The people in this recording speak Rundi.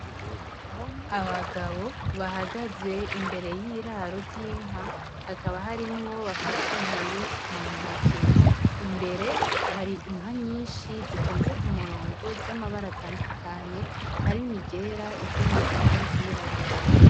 Abagabo bahagaze imbere y'iraro ry'inka, haba harimwo abafashe inkoni mu ntoke. Imbere hari inka nyinshi zitonze ku murongo z'amabara atandukanye harimwo iryera, iry'umugina n'iryirabura.